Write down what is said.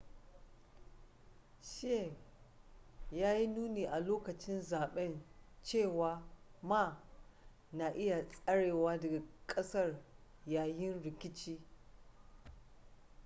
hsieh ya yi nuni a lokacin zaben cewa ma na iya tserewa daga kasar yayin rikici